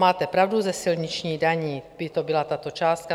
Máte pravdu, ze silničních daní, by to byla tato částka.